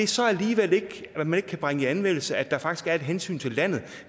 så alligevel ikke bringe i anvendelse at der faktisk er et hensyn til landet